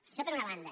això per una banda